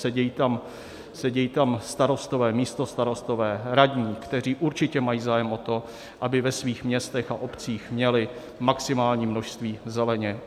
Sedí tam starostové, místostarostové, radní, kteří určitě mají zájem o to, aby ve svých městech a obcích měli maximální množství zeleně.